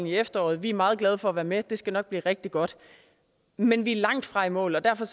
i efteråret vi er meget glade for at være med og det skal nok blive rigtig godt men vi er langtfra i mål og derfor